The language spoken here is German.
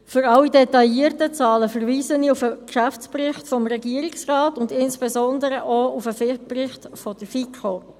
Für alle detaillierten Zahlen verweise ich auf den Geschäftsbericht des Regierungsrates und insbesondere auch auf den Bericht der FiKo.